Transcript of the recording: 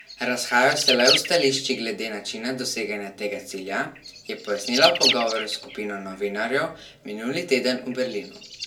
Razhajajo se le v stališčih glede načina doseganja tega cilja, je pojasnila v pogovoru s skupino novinarjev minuli teden v Berlinu.